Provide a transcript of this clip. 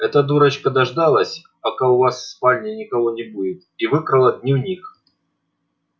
эта дурочка дождалась пока у вас в спальне никого не будет и выкрала дневник